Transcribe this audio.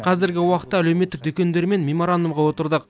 қазіргі уақытта әлеуметтік дүкендермен меморандумға отырдық